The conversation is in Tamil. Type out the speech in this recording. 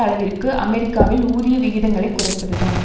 அளவிற்கு அமெரிக்காவில் ஊதிய விகிதங்களைக் குறைப்பதுதான்